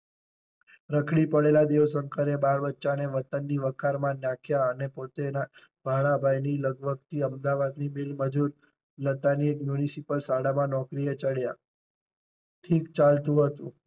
રખડી પડેલા દેવ શંકર એ બાળ બચ્ચા ને વતન ની વખાર માં નાખ્યા અને પોતે ભાણાભાઈ ની લગભગ અમદાવાદ ની મિલ મજૂર લતાની મ્યુનિસિપલ શાળામાં નોકરી એ ચડયા. ઠીક ચાલતું હતું.